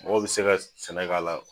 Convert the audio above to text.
Mɔgɔ bi se ka sɛnɛ k'a la